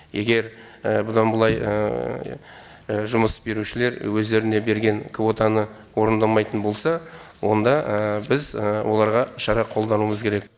егер бұдан былай жұмыс берушілер өздеріне берген квотаны орындамайтын болса онда біз оларға шара қолдануымыз керек